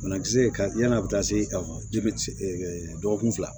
Banakisɛ ka yann'a bɛ taa se bɛ se dɔgɔkun fila